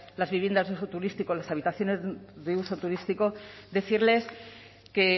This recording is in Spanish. de uso turístico las habitaciones de uso turístico decirles que